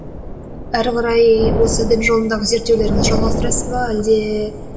әрі қарай осы дін жолындағы зерттеулеріңізді жалғастырасыз ба әлде